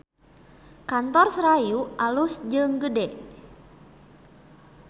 Kantor Serayu alus jeung gede